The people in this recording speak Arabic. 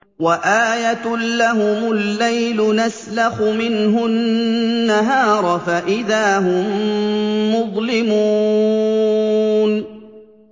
وَآيَةٌ لَّهُمُ اللَّيْلُ نَسْلَخُ مِنْهُ النَّهَارَ فَإِذَا هُم مُّظْلِمُونَ